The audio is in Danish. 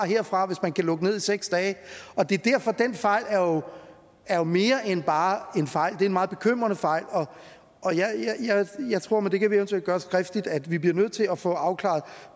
frem hvis man kan lukke ned i seks dage det er derfor den fejl er mere end bare en fejl det er en meget bekymrende fejl og jeg tror men det kan vi eventuelt gøre skriftligt at vi bliver nødt til at få afklaret